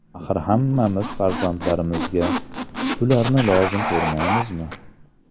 Axir hammamiz farzandlarimizga shularni lozim ko‘rmaymizmi?